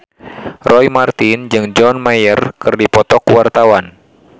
Roy Marten jeung John Mayer keur dipoto ku wartawan